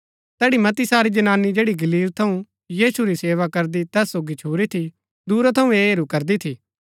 तैड़ी मती सारी जनानी जैड़ी गलील थऊँ यीशु री सेवा करदी तैस सोगी छुरी थी दूरा थऊँ ऐह हेरू करदी थी